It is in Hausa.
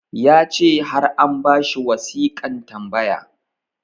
ya ce har an ba shi wasiƙan tambaya